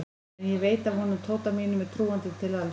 En ég veit að honum Tóta mínum er trúandi til alls.